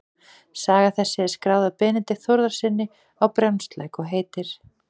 Saga þessi er skráð af Benedikt Þórðarsyni á Brjánslæk og heitir